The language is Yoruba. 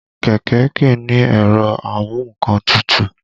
Kẹ̀kẹ́ kìí ní ẹ̀rọ amu nǹkan tutù